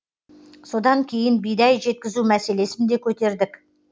содан кейін бидай жеткізу мәселесін де көтердік